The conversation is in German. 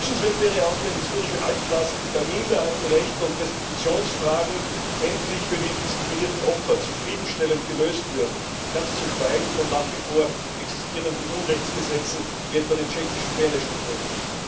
Wünschenswert wäre auch, wenn historische Altlasten bei Minderheitenrechten und Restitutionsfragen endlich für die diskriminierten Opfer zufriedenstellend gelöst würden, ganz zu schweigen von den nach wie vor existierenden Unrechtsgesetzen, wie etwa den tschechischen Beneš Dekreten.